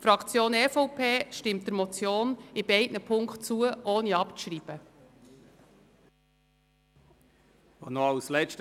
Die EVP-Fraktion stimmt der Motion in beiden Punkten ohne abzuschreiben zu.